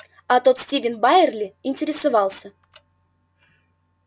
а тот стивен байерли интересовался